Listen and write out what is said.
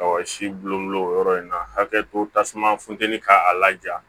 Ɔ si bulon o yɔrɔ in na hakɛ to tasuma funtɛni ka a laja